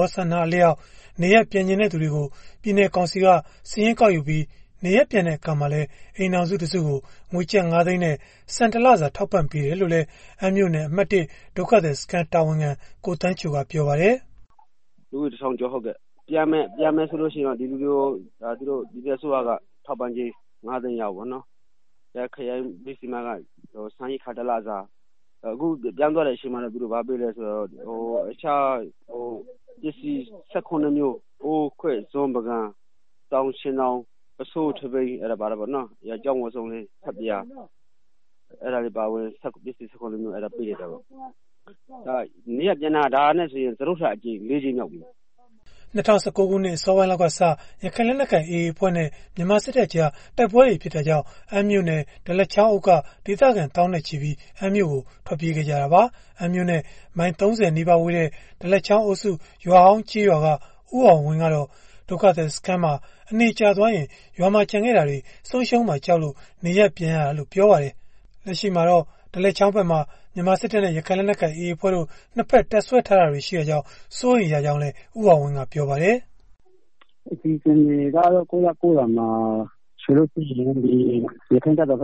ောဆန္ဒအလျောက် နေရပ်ပြန်ချင်တဲ့ သူတွေကို ပြည်နယ်ကောင်စီက စာရင်းကောက်ယူထားတာဖြစ်ပြီး နေရပ်ပြန်တဲ့ အခါမှာလည်း အိမ်ထောင်စု တစုကို ငွေကျပ်ငါးသိန်းနဲ့ ဆန်တစ်လစာထောက်ပံ့ပေးတယ်လို့လည်း အမ်းမြို့နယ် အမှတ် စစ်ဘေးဒုက္ခသည်စခန်းတာဝန်ခံ ကိုသန်းချိုကပြောပါတယ်။ “ လူဦးရေ တစ်ထောင်ကျော်ပေါ့နော်။ ဒီလူတွေကို ပြန်မယ်ဆိုလို့ရှိရင်တော့ ပြည်နယ် အစိုးရက တစ်အိမ်ထောင်ကို ငါးသိန်းပေးမယ်ပေါ့နော်၊ ခရိုင်ဘေးစီမံက ဆန်ရိက္ခာ တစ်လစာ၊ ပြန်သွားတဲ့ အချိန်မှာလည်း တခြား ဘာပေးလဲ ဆိုတော့ ပစ္စည်း ၁၇မျိုးပေးတယ်၊ အိုးခွက် ဇွန်း ပန်းကန်၊ ဆောင်၊ ခြင်ထောင် ပုဆိုး ထဘီ၊ ဆပ်ပြာတို့ အဲတာတွေ ပေးလိုက်တယ်၊ ပြန်တာက ဒါနဲ့ဆိုရင် လေးကြိမ်မြောက်ရှိပြီဗျာ။” ပြီးခဲ့တဲ့ ၂၀၁၉ခုနှစ် အစောပိုင်းလောက်စပြီး ရခိုင်လက်နက်ကိုင် AA အဖွဲ့နဲ့ အစိုးရတပ်တို့ကြား တိုက်ပွဲတွေ ဖြစ်ပွားခဲ့တာကြောင့် အမ်းမြို့နယ် ဒလက်ချောင်းအုပ်က ဒေသခံ သောင်းနဲ့ချီပြီး အမ်းမြို့ပေါ်ကို ထွက်ပြေးကြရတာပါ။ အမ်းမြို့နဲ့ မိုင်၃၀နီးပါးဝေးတဲ့ ဒလက်ချောင်းအုပ်စု ရွာဟောင်းကျေးရွာက ဦးအောင်ဝင်း ကတော့ စစ်ရှောင်စခန်းမှာ အနေကြာသွားရင် ရွာမှာကျန်ခဲ့တာတွေ ဆုံးရှုံးသွားမှာ ကြောက်လို့ နေရပ်ပြန်လာရတာလို့ ပြောပါတယ်။ လက်ရှိမှာတော့ အဲဒီဒလက်ချောင်းဖက်မှာ အစိုးရတပ်နဲ့ ရခိုင်လက်နက်ကိုင်AAအဖွဲ့တို့ နှစ်ဖက် တပ်စွဲထားတာတွေရှိတာကြောင့် စိုးရိမ်ရတယ်လို့လည်း ဦးအောင်ဝင်းကပြောပါတယ်။ “ အခြေအနေကတော့ ကိုယ့်ရပ်ကိုယ့်ရွာမှာ ယခင်ကလို